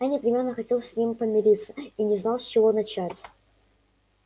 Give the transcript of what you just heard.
я непременно хотел с ним помириться и не знал с чего начать